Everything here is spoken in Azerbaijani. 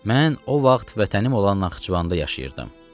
Mən o vaxt vətənim olan Naxçıvanda yaşayırdım.